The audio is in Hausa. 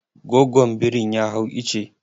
Gogon birin ya hau icce.